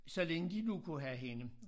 Så længe de nu kunne have hende